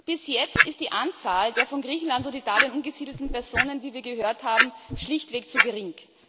Bis jetzt ist die Anzahl der von Griechenland und Italien umgesiedelten Personen, wie wir gehört haben, schlichtweg zu gering.